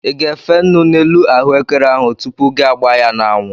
I ga-efe nnu n'elu ahụekere ahụ tupu gi agbaa ya n'anwụ?